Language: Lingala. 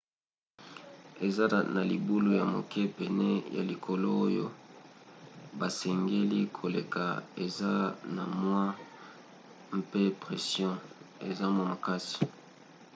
eza na libulu ya moke pene ya likolo oyo basengeli koleka eza na mwa se mpe pression eza mwa makasi